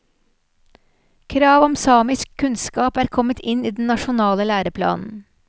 Krav om samisk kunnskap er kommet inn i den nasjonale læreplanen.